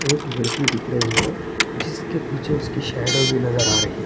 अकबर की दिख रही है जिसके पीछे उसकी शैडो भी नज़र आ रही है।